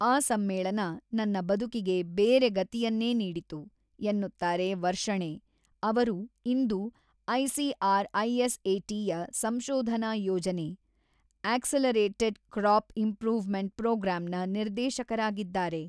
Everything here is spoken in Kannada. ಆ ಸಮ್ಮೇಳನ ನನ್ನ ಬದುಕಿಗೆ ಬೇರೆ ಗತಿಯನ್ನೇ ನೀಡಿತು, ಎನ್ನುತ್ತಾರೆ ವರ್ಷಣೇ, ಅವರು ಇಂದು ಐಸಿಆರ್‌ಐಎಸ್‌ಎಟಿ ಯ ಸಂಶೋಧನಾ ಯೋಜನೆ - ಆ್ಯಕ್ಸಲರೇಟೆಡ್‌ ಕ್ರಾಪ್‌ ಇಂಪ್ರೂವ್‌ಮೆಂಟ್‌ ಪ್ರೊಗ್ರಾಂ ನ ನಿರ್ದೇಶಕರಾಗಿದ್ದಾರೆ.